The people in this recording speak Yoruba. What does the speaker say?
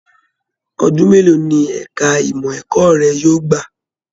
Ọdún mélòó ní ẹka ìmọ ẹ̀kọ́ rẹ yóò gbà?